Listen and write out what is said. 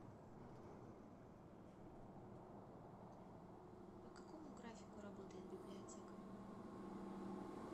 по какому графику работает библиотека